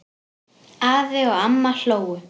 Afi og amma hlógu.